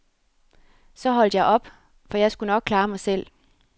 Så holdt jeg op, for jeg skulle nok klare mig selv.